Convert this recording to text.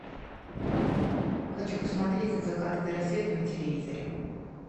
хочу посмотреть от заката до рассвета на телевизоре